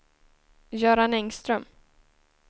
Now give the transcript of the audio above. Göran Engström